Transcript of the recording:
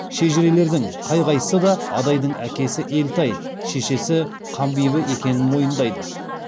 шежірешілердің қай қайсысы да адайдың әкесі елтай шешесі қанбибі екенін мойындайды